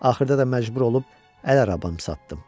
Axırda da məcbur olub əl arabamı satdım.